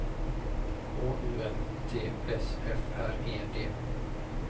H U L T S F R E D